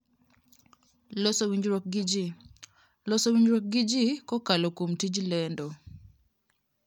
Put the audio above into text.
Loso Winjruok gi Ji: Loso winjruok gi ji kokalo kuom tij lendo.